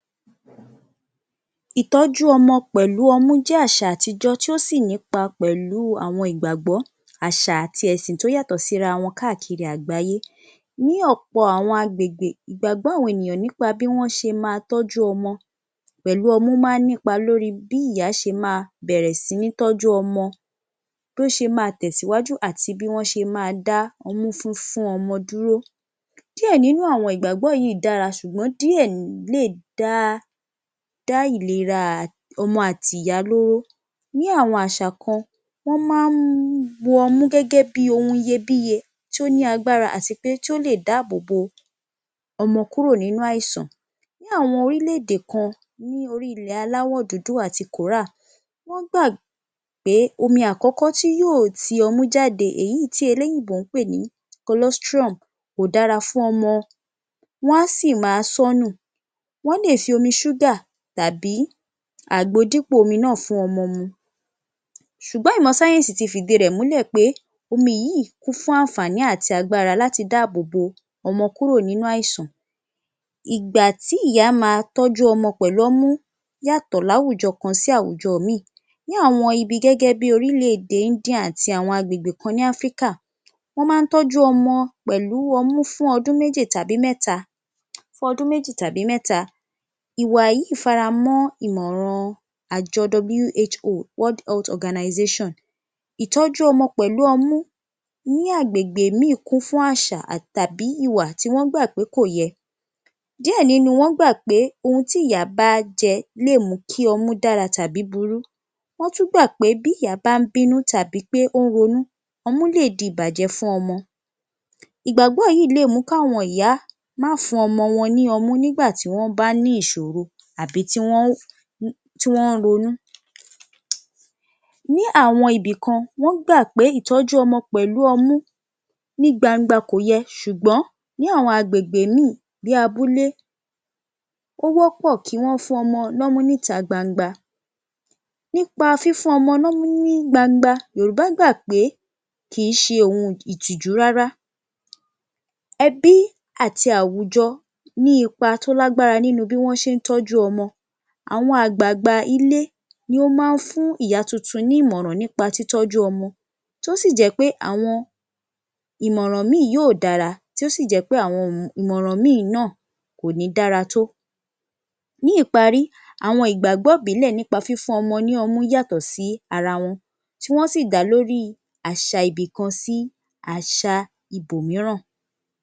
Ìtọ́jú ọmọ pẹ̀lú ọmú jẹ́ àṣà àtijọ́ tí ó sì ní ipa pẹ̀lú àwọn ìgbàgbọ́ àṣà àti ẹ̀sìn tí ó yàtọ̀ sí ara wọn káàkiri àgbáyé. Ní ọ̀pọ̀ àwọn agbègbè, ìgbàgbọ́ àwọn ènìyàn nípa bí wọ́n ṣe máa tọ́jú ọmọ pẹ̀lú ọmú máa nípa lórí bí ìyá ṣe máa bẹ̀rẹ̀ sí ní tọ́jú ọmọ, bí ó ṣe máa tẹ̀síwájú àti bí wọ́n ṣe máa dá ọmú fífún fún ọmọ dúró. Díẹ̀ nínú àwọn ìgbàgbọ́ yìí dára àmọ́ díẹ̀ lè dá ìlera ọmọ àti ìyá lóró. Ní àwọn àṣà kan wọ́n máa ń mú ọmú gẹ́gẹ́ bí i ohun iyebíye tí ó ní agbára àti pé tí ó lè dáàbòbò ọmọ kúrò nínú àìsàn. Nínú àwọn orílẹ̀-èdè kan ní orí-ilẹ̀ aláwọ̀ dúdú àti Kòórà, wọ́n gbà pé omi àkọ́kọ́ tí yóò ti ọmú jáde èyí tí Eléyìnbó ń pè ní Colestrum kò dára fún ọmọ, wọ́n á sì máa sọ́nù, wọ́n lè fi omi ṣúgà tàbí àgbo dípò omi náà fún ọmọ mu, ṣùgbọ́n ìmọ̀ sáyẹ́ńsì ti fìdí rẹ̀ múlẹ̀ pé omi yìí kún fún àǹfààní àti agbára láti dáàbòbò ọmọ kúrò nínú àìsàn, ìgbà tí ìyá máa tọ́jú ọmọ pẹ̀lú ọmú yàtọ̀ láwùjọ kan sí àwùjọ ìmíì, ní àwọn ibi gẹ́gẹ́ bí i orílẹ̀-èdè India àti àwọn agbègbè kan ní Áfíríkà, wọ́n máa ń tọ́jú ọmọ pẹ̀lú ọmú fún ọdún méjì tàbí mẹ́ta, ìwà yìí faramọ́ ìmọ̀ràn àjọ WHO World Health Organization. Ìtọ́jú ọmọ pẹ̀lú ọmú ní agbègbè míì kún fún àṣà tàbí ìwà tí wọ́n gbà pé kò yẹ. Díẹ̀ nínú wọn gbà pé ohun tí ìyá bá jẹ lè mú kí ọmú dára tàbí burú, wọ́n tún gbà pé bí ìyá bá ń bínú tàbí pé ó ń ronú, ọmú lè di ìbàjẹ́ fún ọmọ. Ìgbàgbọ́ yìí lè mú kí àwọn ìyá má fún ọmọ wọn ní ọmú nígbà tí wọ́n bá ní ìṣòro tàbí tí wọ́n ń ronú. Ní àwọn ibìkan wọ́n gbà pé ìtọ́jú ọmọ pẹ̀lú ọmú ní gbangba kòyẹ ṣùgbọ́n ní àwọn agbègbè ìmíì bí i abúlé, ó wọ́pọ̀ kí wọ́n fún ọmọ lọ́mú níta gbangba, nípa fífún ọmọ lọ́mú ní gbangba, Yorùbá gbà pé kìí ṣe ohun ìtìjú rárá, ẹbí àti àwùjọ ní ipa tó lágbára nínú bí wọ́n ṣe ń tọ́jú ọmọ. Àwọn àgbààgbà ilé ni ó máa ń fún ìyá tuntun ní ìmọ̀ràn nípa títọ́jú ọmọ tí ó sì jẹ́ pé àwọn ìmọ̀ràn ìmíì yóò dára tí ó sì jẹ́ pé àwọn ìmọ̀ràn míì náà kò ní dára tó. Ní ìparí, àwọn ìgbàgbọ́ ìbílẹ̀ nípa fífún ọmọ ní ọmú yàtọ̀ sí ara wọn tí wọ́n sì dá lórí àṣà ibìkan sí àṣà ibòmíràn.